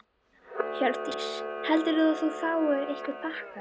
Hjördís: Heldurðu að þú fáir einhverja pakka?